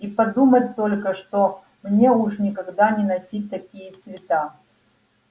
и подумать только что мне уж никогда не носить такие цвета